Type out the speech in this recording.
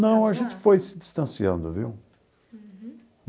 Não, a gente foi se distanciando, viu? Uhum.